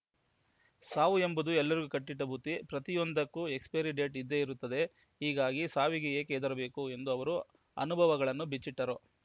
ಸಾವು ಎಂಬುದು ಎಲ್ಲರಿಗೂ ಕಟ್ಟಿಟ್ಟಬುತ್ತಿ ಪ್ರತಿಯೊಂದಕ್ಕೂ ಎಕ್ಸ್‌ಪೈರಿ ಡೇಟ್‌ ಇದ್ದೇ ಇರುತ್ತದೆ ಹೀಗಾಗಿ ಸಾವಿಗೆ ಏಕೆ ಹೆದರಬೇಕು ಎಂದು ಅವರು ಅನುಭವಗಳನ್ನು ಬಿಚ್ಚಿಟ್ಟರು